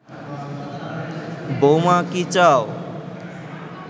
বৌমা কি চাও